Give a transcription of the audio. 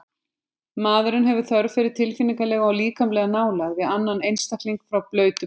Maðurinn hefur þörf fyrir tilfinningalega og líkamlega nálægð við annan einstakling frá blautu barnsbeini.